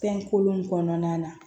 Fɛn kolon kɔnɔna na